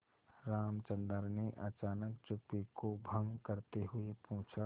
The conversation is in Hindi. रामचंद्र ने अचानक चुप्पी को भंग करते हुए पूछा